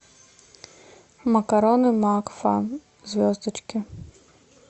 макароны макфа звездочки